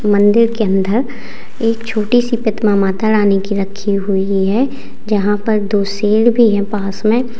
मंदिर के अंदर एक छोटी सी प्रतिमा माता रानी की रखी हुई है यहां पर दो शेर भी हैं पास में।